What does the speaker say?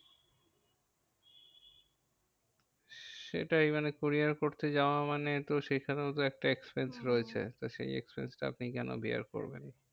সেটাই মানে courier করতে যাওয়া মানে এতো সেখানেও তো একটা expense হম রয়েছে, তো সেই expense টা আপনি কেন bear করবেন?